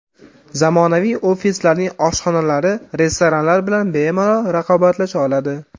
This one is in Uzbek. Zamonaviy ofislarning oshxonalari restoranlar bilan bemalol raqobatlasha oladi.